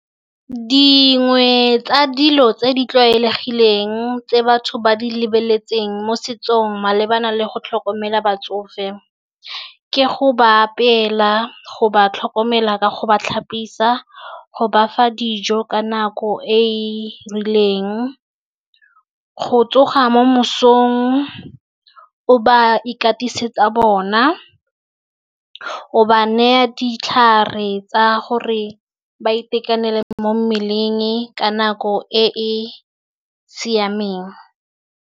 Dingwe tsa dilo tse di tlwaelegileng tse batho ba di lebeletseng mo setsong malebana le go tlhokomela batsofe. Ke go ba apeela, go ba tlhokomela ka go ba tlhapisa, go bafa dijo ka nako e e rileng, go tsoga mo mosong o ba ikatisetsa bona, o ba neya ditlhare tsa gore ba itekanele mo mmeleng ka nako e e siameng.